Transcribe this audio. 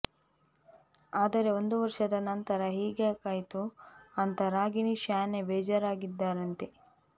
ಆದರೆ ಒಂದು ವರ್ಷದ ನಂತರ ಹೀಗ್ಯಾಕಾಯ್ತು ಅಂತ ರಾಗಿಣಿ ಶ್ಯಾನೆ ಬೇಜಾರಾಗಿದ್ದಾರಂತೆ